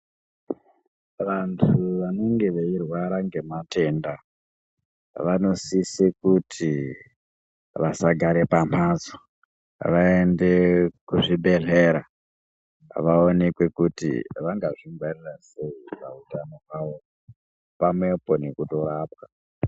Vantu vanenge veirwara ngematenda vanosise kuti vasagara pamhatso. Vaende kuzvibhedhlera, vaonekwe kuti vangazvingwarira sei pautano hwavo, pamwepo nekutorapwa.